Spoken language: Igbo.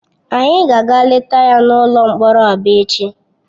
Anyị ga-aga leta ya n'ụlọ mkpọrọ Aba echi.